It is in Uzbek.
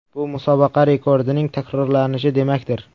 Bu musobaqa rekordining takrorlanishi demakdir.